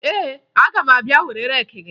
Ee, aga m abịa were reeki gị